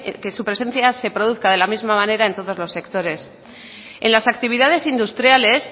que su presencia se produzca de la misma manera en todos los sectores en las actividades industriales